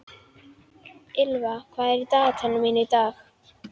Ýlfa, hvað er í dagatalinu mínu í dag?